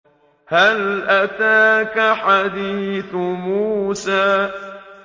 هَلْ أَتَاكَ حَدِيثُ مُوسَىٰ